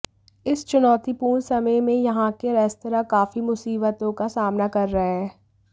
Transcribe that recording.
इस चुनौतीपूर्ण समय में यहां के रेस्तरां काफी मुसीबतों का सामना कर रहे हैं